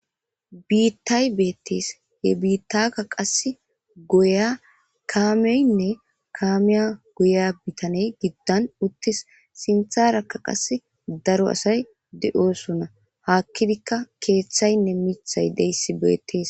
Biittay beettees he biittaka qass goya kaameynne kaamiya goya bitaney giddan uttis sintharakka qas daro asay de7osona hakkidikka keeththaynne mithay deyssi beettees.